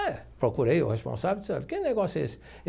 É, procurei o responsável e disse, olha, que negócio é esse?